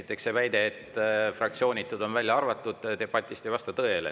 Esiteks, see väide, et fraktsioonitud on välja arvatud debatist, ei vasta tõele.